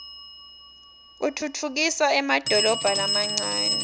utfutfukisa emadolobha lamancane